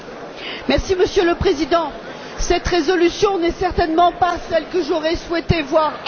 Monsieur le Président, cette résolution n'est certainement pas celle que j'aurais souhaité voir adoptée.